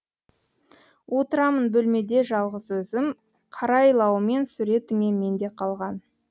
отырамын бөлмеде жалғыз өзім қарайлаумен суретіңе менде қалған